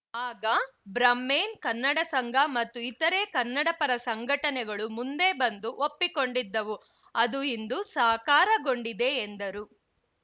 ಆಗ ಬ್ರಾಮ್ಹೈನ್ ಕನ್ನಡ ಸಂಘ ಮತ್ತು ಇತರೆ ಕನ್ನಡಪರ ಸಂಘಟನೆಗಳು ಮುಂದೆ ಬಂದು ಒಪ್ಪಿಕೊಂಡಿದ್ದವು ಅದು ಇಂದು ಸಾಕಾರಗೊಂಡಿದೆ ಎಂದರು